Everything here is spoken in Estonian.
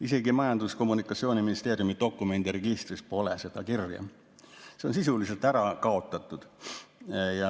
Isegi Majandus‑ ja Kommunikatsiooniministeeriumi dokumendiregistris pole seda kirja, see on sisuliselt ära kaotatud.